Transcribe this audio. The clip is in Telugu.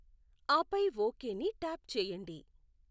ఆపై ఓకేని ట్యాప్ చేయండి